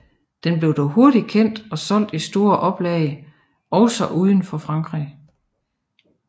Den blev dog hurtig kendt og solgte i store oplag også uden for Frankrig